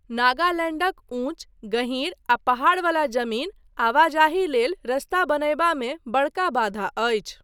नगालैण्डक ऊँच, गहीर आ पहाड़बला जमीन आवाजाही लेल रस्ता बनयबामे बड़का बाधा अछि।